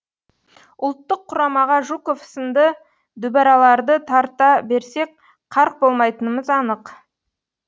ұлттық құрамаға жуков сынды дүбәраларды тарта берсек қарқ болмайтынымыз анық